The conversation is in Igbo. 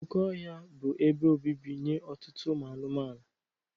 Oke ọhịa bụ ebe obibi nye ọtụtụ ụmụ anụmanụ.